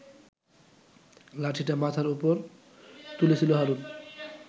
লাঠিটা মাথার ওপর তুলেছিল হারুন